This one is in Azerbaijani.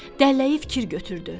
Dəlləyi fikir götürdü.